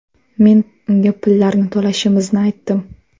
Men unga pullarni to‘lashimizni aytdim.